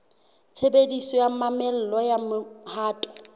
tshebediso ya mamello ya mohato